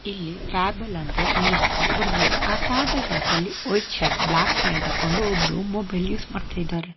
ಇಲ್ಲಿ ಫ್ಯಾಬಲ್ ಅಂತ ಇಂಗ್ಲೀಷ್ ನಲ್ಲಿ ಬರೆದಿದ್ದಾರೆ ಆ ಫ್ಯಾಬಲ್ ಪಕ್ಕದಲ್ಲಿ ವೈಟ್ ಶರ್ಟ್ ಬ್ಲಾಕ್ ಪ್ಯಾಂಟ್ ಹಾಕೊಂಡು ಒಬ್ರು ಮೊಬೈಲ್ ಯೂಸ್ ಮಾಡ್ತಾ ಇದ್ದಾರೆ.